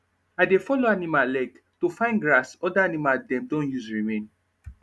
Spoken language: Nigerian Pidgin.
i de follow animal leg to fine grass other animal dem don use remain